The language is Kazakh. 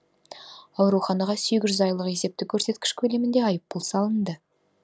ауруханаға сегіз жүз айлық есептік көрсеткіш көлемінде айыппұл салынды